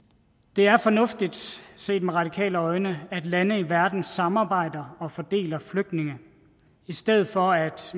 det er fornuftigt set med radikale øjne at lande i verden samarbejder og fordeler flygtninge i stedet for at